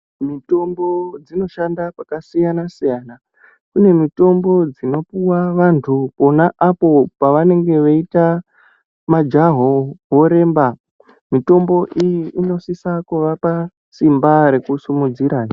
Mitombo dzinodhanda kwakasiyana siyana kune mitombo dzinopuwa vandu pona apo pavanenge veita majaho voremba mitombo iyi inosisa kuvapa simba rekusimudzira hee.